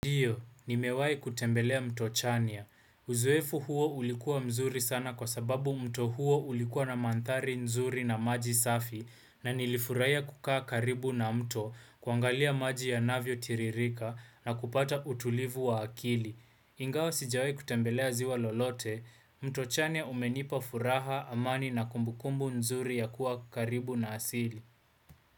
Ndiyo, nimewahi kutembelea mto chania. Uzoefu huo ulikuwa mzuri sana kwa sababu mto huo ulikuwa na manthari nzuri na maji safi na nilifurahia kukaa karibu na mto kuangalia maji yanavyo tiririka na kupata utulivu wa akili. Ingawa sijawai kutembelea ziwa lolote, mto chania umenipa furaha amani na kumbukumbu nzuri ya kuwa karibu na asili.